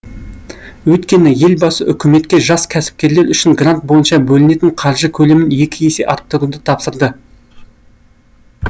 өйткені елбасы үкіметке жас кәсіпкерлер үшін грант бойынша бөлінетін қаржы көлемін екі есе арттыруды тапсырды